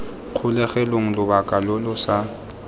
kgolegelong lobaka lo lo sa